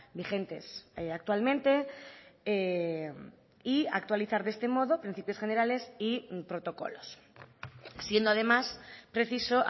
vigentes actualmente y actualizar de este modo principios generales y protocolos siendo además preciso